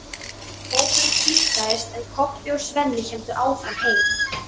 Hópurinn tvístraðist, en Kobbi og Svenni héldu áfram heim.